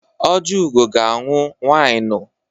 Ojiugo ga-aṅụ wịnụ.